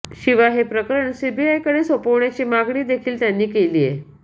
शिवाय हे प्रकरण सीबीआयकडे सोपवण्याची मागणी देखील त्यांनी केलीये